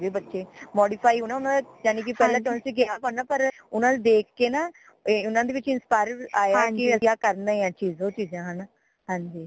ਹੋ ਗਏ ਬੱਚੇ modify ਹੋਣਾ ਉਣਾਦਾ ਯਾਨੀ ਕਿ ਪਹਲੇ ਗਏ ਸੀ ਨਾ ਪਰ ਓਨਾ ਨੂ ਦੇਖ ਕੇ ਨਾ ਓਨਾ ਦੇ ਵਿਚ inspire ਆਯਾ ਅਸੀਂ ਕਰਨਾ ਹੀ ਹ ਆ ਚੀਜ਼ ਹੈ ਨਾ ਹਾਂਜੀ